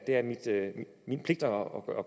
gøre